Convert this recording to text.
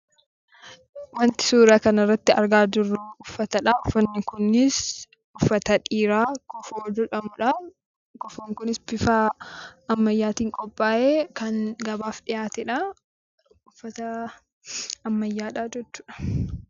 Wanti suuraa kana irratti argaa jirru uffatadha. Uffanni kunis uffata dhiiraa kofoo jedhamudha. Kofoon kunis bifa ammayyaatiin qophaa'ee kan gabaaf dhiyaatedha. Uffata ammayyaadha jechuudha.